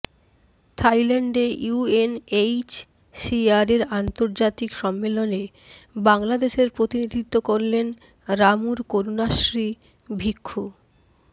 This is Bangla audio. থাইল্যান্ডে ইউএনএইচসিআর এর আর্ন্তজাতিক সম্মেলনে বাংলাদেশের প্রতিনিধিত্ব করলেন রামুর করুনাশ্রী ভিক্ষু